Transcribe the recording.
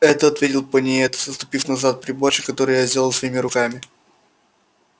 это ответил пониетс отступив назад приборчик который я сделал своими руками